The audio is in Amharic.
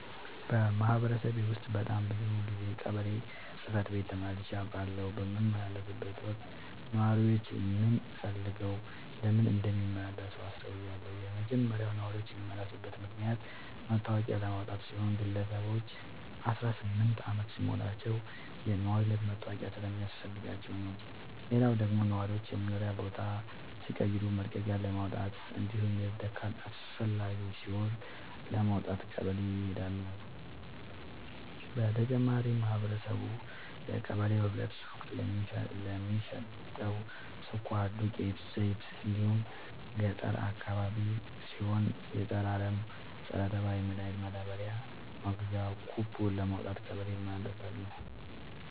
በማህበረሰቤ ውስጥ በጣም ብዙ ጊዜ ቀበሌ ጽህፈት ቤት ተመላልሼ አውቃለሁ። በምመላለስበትም ወቅት ነዋሪዎች ምን ፈልገው ለምን እንደሚመላለሱ አስተውያለሁ የመጀመሪያው ነዋሪዎች የሚመላለሱበት ምክንያት መታወቂያ ለማውጣት ሲሆን ግለሰቦች አስራስምንት አመት ሲሞላቸው የነዋሪነት መታወቂያ ስለሚያስፈልጋቸው ነው። ሌላው ደግሞ ነዋሪዎች የመኖሪያ ቦታ ሲቀይሩ መልቀቂያለማውጣት እንዲሁም የልደት ካርድ አስፈላጊ ሲሆን ለማውጣት ቀበሌ ይሄዳሉ። በተጨማሪም ማህበረቡ የቀበሌው ህብረት ሱቅ ለሚሸተው ስኳር፣ ዱቄት፣ ዘይት እንዲሁም ገጠር አካባቢ ሲሆን የፀረ አረም፣ ፀረተባይ መድሀኒት ማዳበሪያ መግዣ ኩቦን ለማውጣት ቀበሌ ይመላለሳሉ።